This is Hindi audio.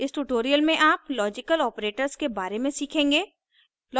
इस tutorial में आप logical operators के बारे में सीखेंगे